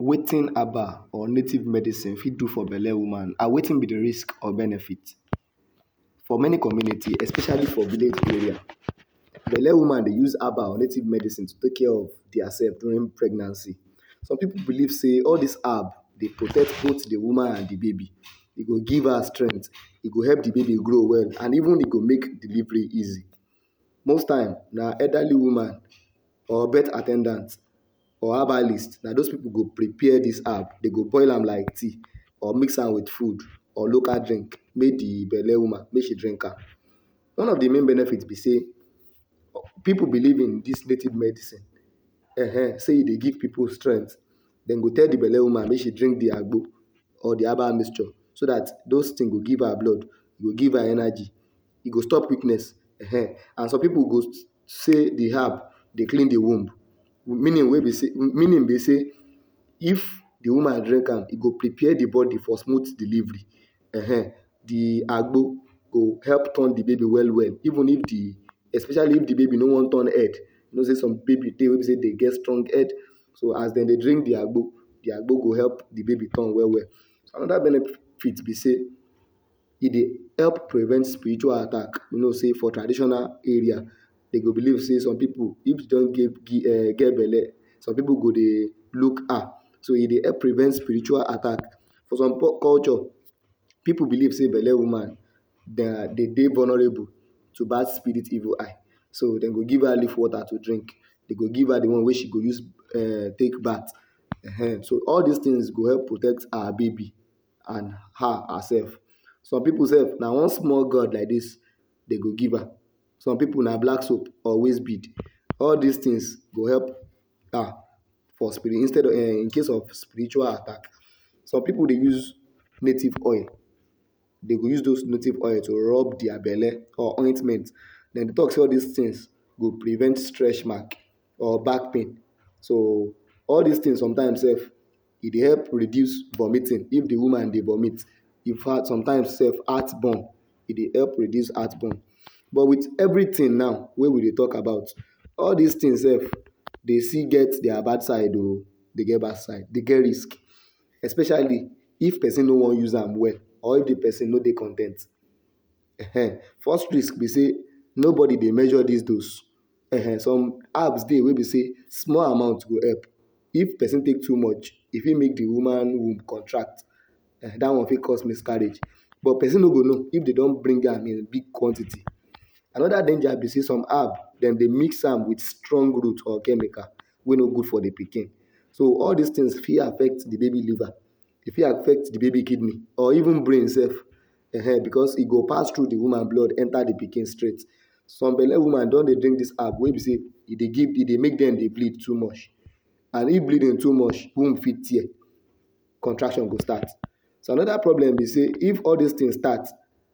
Wetin herbal or native medicine fit do for belle woman and wetin be risk or benefit? For many community especially for village area, belle woman dey use herbal native medicine to take care of dia sef during pregnancy. Some pipu believe sey all dis herb dey protect both di woman and di baby, e go give her strength, e go help di baby grow well and even e go make delivery easy. Most time, na elderly women or birth at ten dant or herbalist, na dos pipu go prepare dis herb, dey go boil am like tea, or mix am wit food or local drink, make di belle woman make she drink am. One of di main benefit be sey, pipu believe in dis native medicine, um, sey e dey give pipu strength, dem go tell di belle woman make she drink di agbo, or di herbal mixture, so dat dos tin go give her blood, e go give her energy, e go stop weakness, um, and some pipu go sey di herb dey klin di womb, meaning we be sey, meaning be sey, if di woman drink am, e go prepare di bodi for smooth delivery. um, di agbo go turn di baby well well, even if di especially if di baby no wan turn head, you no sey some baby dey wey be sey dem get strong head. So as dem dey drink di agbo, di agbo go help turn di baby well well. Anoda benefit be sey, e dey help prevent spiritual attack, you know sey for traditional area, dem go believe sey some pipu if dem don um get belle, some pipu go dey look her, so e dey help prevent spiritual attack. For some culture pipu believe sey belle woman dem dey vulnerable to to bad spirit evil eye, so dem go give her leaf water to drink, dem go give her di one wey she go use take bath, um. So all dis tin go help protect her baby and her hersef. Some pipu sef na one small god like dis dem go give her. Some pipu na black soap or waist bead, all dis tins go help for instead of um, incase of spiritual attack. Some pipu dey use native coin, dem go use dos native coin to rob dia belle or ointment, dem tok sey all these tins go prevent stretch marks or back pain. So all these tins some time sef e dey help reduce vomiting if di woman dey vomit. Infact some time sef heart burn, e dey help reduce heart burn. But wit evritin now wey we dey tok about, all dis tin sef dem still get their bad side o, dem get bad side, dem get risk, especially if pesin no wan use am well or if di pesin no dey con ten t, um. First risk be sey, nobody dey measure dis dose, um, some herbs wey be sey small amount go help, if pesin tok too much, e fit make di woman womb contract, dat one fit cause miscarriage, but pesin no go know if dem don drink am in big quantity. Anoda danger be say some herb, dem dey mix am wit strong root or chemical wey no gud for di pikin. So all dis tins fit affect di baby liver, e fit affect di baby kidney or even brain sef, um, becos e go pass tru di woman blood enter di pikin straight. Some belle woman don dey drink dis herb wey be say e dey e dey make dem dey bleed too much and if bleeding too much, womb fit tear, contraction go start. So anoda problem be sey if all dis tin start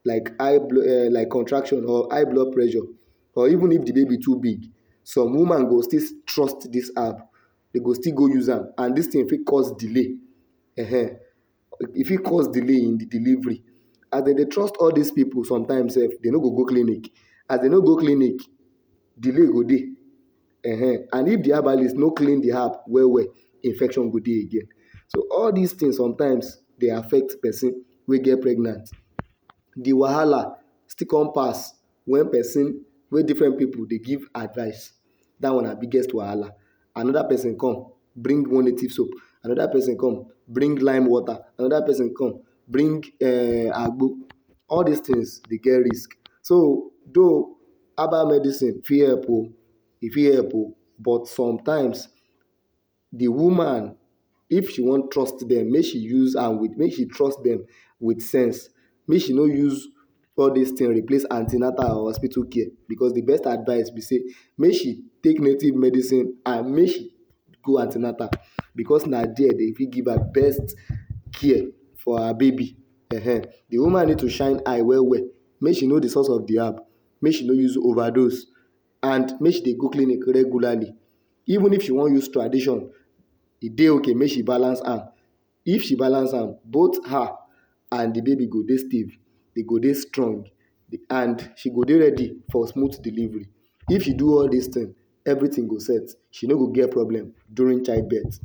like high um like contraction or high blood pressure or even if di baby too big, some woman go still trust dis herb, dem go still go use am, and dis tin fit cause delay, um, e fit cause delay in delivery. As dem dey trust all dis pipu sometimes sef dem no go go clinic, as dem no go go clinic. As dem no go clinic, delay go dey, um. And if di herbalist no klin di herb well well, infection go dey again. So, all dis tins sometimes dey affect pesin wey get pregnant. Di wahala still come pass wen pesin wey different pipu dey give advice, dat one na biggest wahala. Anoda pesin come bring one native soap, anoda pesin come bring lime water, anoda pesin come bring um agbo, all dis tins dey get risk. So tho, herbal medicine fit help o, e fit help o, but sometimes di woman if she wan trust dem make she use am wit, make she trust dem wit sense, make she no use all dis tins replace an ten atal or hospitu care, becos di best advice be sey, make she take native medicine and make she go an ten atal becos na there dem fit give her best care for her baby, um. Di woman need to shine eye well well, make she no di source of di herb, make she no use no use overdose and make she dey go clinic regularly even if she wan use tradition, e dey ok, make she balance am, if she balance am both her and di baby go dey, she go dey strong and she go dey ready for smooth delivery. If she do all these tin, evritin go set. She no go get problem during child birth.